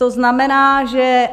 To znamená, že...